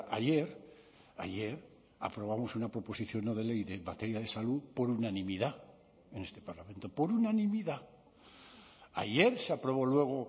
ayer ayer aprobamos una proposición no de ley de materia de salud por unanimidad en este parlamento por unanimidad ayer se aprobó luego